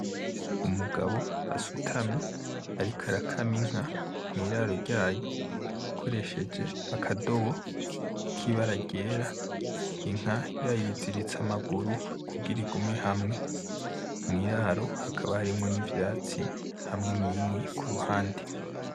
Umugabo asutamye ariko arakama inka mw'iraro ryayo akoresheje akadobo kibara ryera inka yayiziritse amaguru kugira igume hamwe mw'iraro hakaba harimwo n'ivyatsi hamwe n'inkwi ku ruhande.